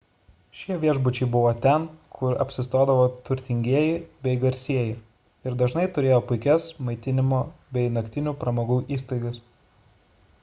šie viešbučiai buvo ten kur apsistodavo turtingieji bei garsieji ir dažnai turėjo puikias maitinimo bei naktinių pramogų įstaigas